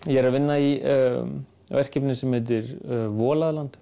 ég er að vinna í verkefni sem heitir